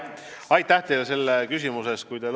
Aitäh teile selle küsimuse eest!